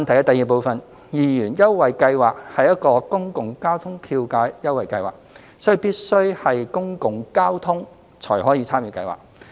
二二元優惠計劃是一個公共交通票價優惠計劃，所以必須是公共交通才可參與計劃。